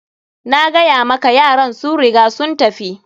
Nagaya maka yaran sun riga sun tafi.